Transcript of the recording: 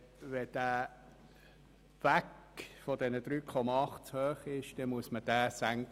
Wenn der Kapitalkostensatz von 3,8 Prozent zu hoch ist, dann muss man ihn senken.